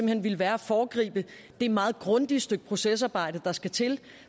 hen ville være at foregribe det meget grundige stykke procesarbejde der skal til